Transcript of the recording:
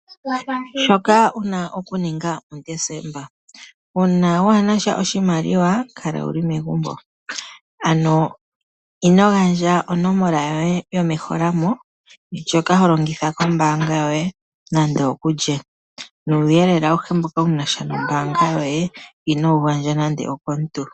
Shoka wu na okuninga puDesemba Uuna waa na sha oshimaliwa kala wu li megumbo, ano ino gandja onomola yoye yomeholamo ndjoka ho longitha kombaanga yoye nande okulye. Nuuyelele awuhe mboka wu na sha nombaanga yoye ino wu gandja nande okomuntu.